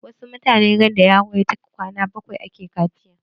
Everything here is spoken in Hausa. Wasu mutanen randa yaro ya cika kwana bakwai ake kaciya.